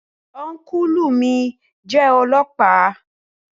Ọ́nkùlù mi jẹ́ ọlọ́ọ̀pá